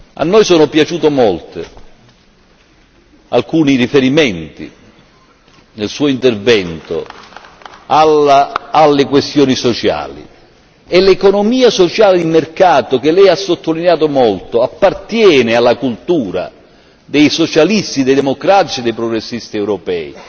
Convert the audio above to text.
A noi sono piaciuti molto alcuni riferimenti nel suo intervento alle questioni sociali e l'economia sociale di mercato che Lei ha sottolineato molto appartiene alla cultura dei socialisti, dei democratici e dei progressisti europei.